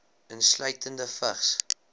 insluitende vigs